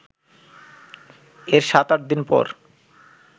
এর সাত-আট দিন পর